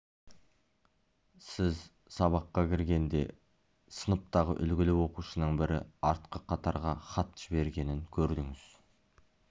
сіз сабаққа кіргенде сыныптағы үлгілі оқушының бірі артқы қатарға хат жібергенін көрдіңіз